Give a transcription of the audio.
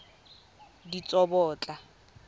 ditsobotla